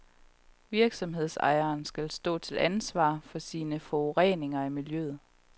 Virksomhedsejeren skal stå til ansvar for sin forurening af miljøet.